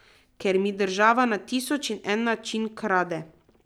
Kjer mi država na tisoč in en način krade.